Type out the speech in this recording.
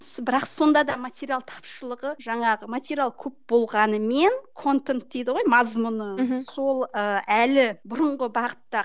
бірақ сонда да материал тапшылығы жаңағы материал көп болғанымен контент дейді ғой мазмұны мхм сол ы әлі бұрынғы бағытта